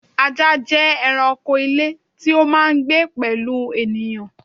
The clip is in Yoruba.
Ajá jẹ́ ẹranko ilé tí ó máà ń gbé pẹ̀lú ènìyàn